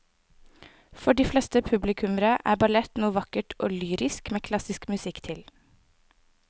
For de fleste publikummere er ballett noe vakkert og lyrisk med klassisk musikk til.